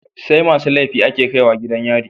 SAimasu laifi ake kaiwa gidan yari